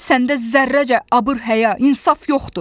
Səndə zərrəcə abır-həya, insaf yoxdur.